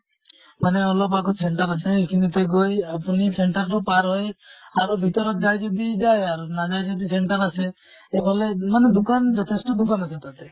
মানে অলপ আগত center আছে, সেই খিনিতে গৈ আপুনি center টো পাৰ হৈ আৰু ভিতৰত যায় যদি যায় আৰু । নাযায় যদি center আছে। অকলে মানে দোকান যথেষ্ট দোকান আছে তাতে।